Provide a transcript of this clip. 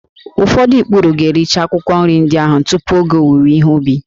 Ụfọdụ ikpuru ga-ericha akwụkwọ nri ndị ahụ tupu oge owuwe ihe ubi